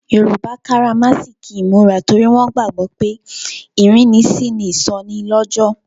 Yoruba karamasiki imura torí wọn gbàgbó pé ìrínisí ni ìsọnilọ́jọ̀.